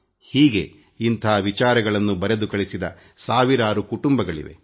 ಹೀಗೆ ಇಂಥ ವಿಚಾರಗಳನ್ನು ಬರೆದು ಕಳಿಸಿದ ಸಾವಿರಾರು ಕುಟುಂಬಗಳಿವೆ